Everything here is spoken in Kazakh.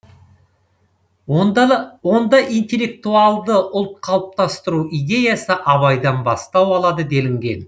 онда интеллектуалды ұлт қалыптастыру идеясы абайдан бастау алады делінген